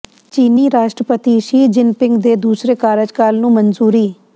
ਚੀਨੀ ਰਾਸ਼ਟਰਪਤੀ Xi Jinping ਦੇ ਦੂਸਰੇ ਕਾਰਜਕਾਲ ਨੂੰ ਮਨਜ਼ੂਰੀ